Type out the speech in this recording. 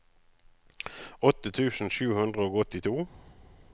åtte tusen sju hundre og åttito